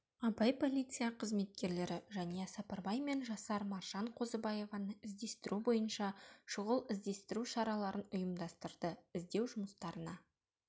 абай полиция қызметкерлері жәния сапарбай мен жасар маржан қозыбаеваны іздестіру бойынша шұғыл-іздестіру шараларын ұйымдастырды іздеу жұмыстарына